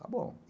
Tá bom.